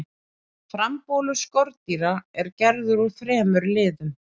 frambolur skordýra er gerður úr þremur liðum